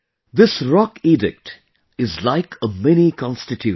This rockedict is like a miniconstitution